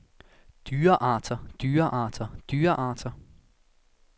dyrearter dyrearter dyrearter